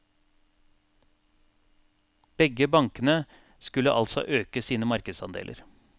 Begge bankene skulle altså øke sine markedsandeler.